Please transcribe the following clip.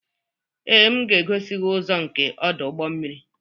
Ee, m ga-egosi gị ụzọ nke ọdụ ụgbọ mmiri.